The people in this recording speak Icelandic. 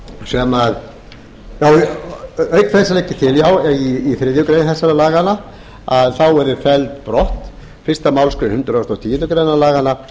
sem auk þess legg ég til í þriðju grein þessara laga að að felld yrði brott fyrstu málsgrein hundrað og tíundu grein laganna